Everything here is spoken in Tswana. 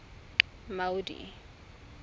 maudi